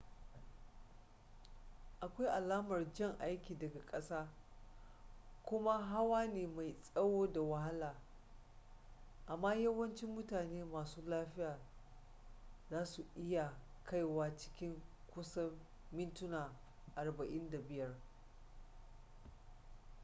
akwai alamar jan aiki daga ƙasa kuma hawa ne mai tsawo da wahala amma yawancin mutane masu lafiya za su iya kaiwa cikin kusan mintuna 45